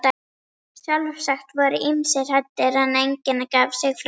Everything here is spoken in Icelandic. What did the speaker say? Sjálfsagt voru ýmsir hræddir, en enginn gaf sig fram.